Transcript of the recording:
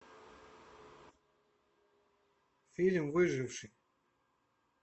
фильм выживший